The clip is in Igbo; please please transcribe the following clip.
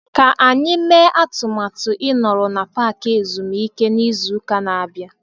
Ka anyị mee atụmatụ ịnọrọ na paaki ezumike n'izu ụka na-abịa.